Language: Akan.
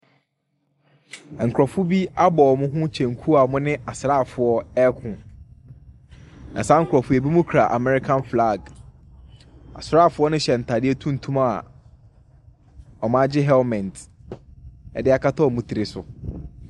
Nkurɔfo bi abɔ wɔn ho kyɛnku a wɔne asraafo ɛreko, na saa nkorɔfo yi binom kura American flag. Asraafo ne hyɛ ntaadeɛ tuntum a wɔagye helmet de akata wɔn tiri so.